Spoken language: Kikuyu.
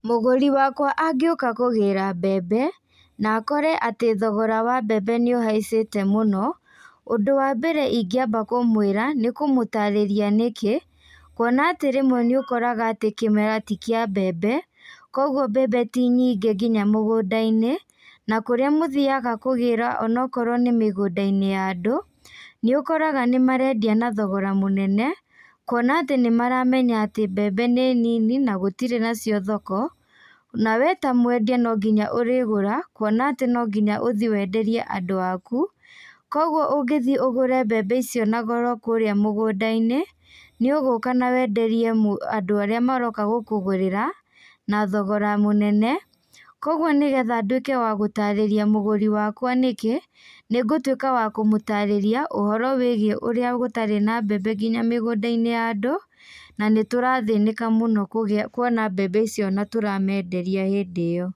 Mũgũri wakwa angĩũka kũgĩra mbembe, nakore atĩ thogora wa mbembe nĩũhaicite mũno, ũndũ wa mbere ingĩamba kũmwĩra, nĩkũmũtarĩria nĩkĩ, kuona atĩ rĩmwe nĩũkoraga atĩ kĩmera tikĩa mbembe, koguo mbembe ti nyingĩ nginya mũgũnda-inĩ, na kũrĩa mũthiaga kũgĩra onokorwo nĩ mĩgúnda-inĩ ya andũ, nĩũkoraga nímarendia na thogora mũnene, kuona atĩ nĩmaramenya atĩ mbembe nĩ nini na gũtirĩ nacio thoko, na we ta mwendia nonginya ũrĩgũra, kuona atĩ nonginya ũthii wenderie andũa aku, koguo ũngĩthii ũgũre mbembe icio na goro kũrĩa mũgũnda-inĩ, nĩũgũka na wenderie mũ andũ arĩa maroka gũkũgũrĩra, na thogora mũnene, koguo nĩgetha ndwĩke wa gũtarĩria mũgũri wakwa nĩkĩ, nĩngũtwĩka wa kũmũtarĩria ũhoro wĩgiĩ nĩkĩ ũrĩa gũtarĩ na mbembe nginya mĩgũnda-inĩ ya andũ, na nĩtũrathĩnĩka mũno kũgĩa kuona mbembe icio na tũramenderia hĩndĩ ĩyo.